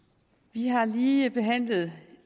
vi har lige behandlet